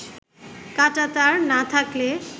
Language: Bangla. কাঁটাতার না থাকলে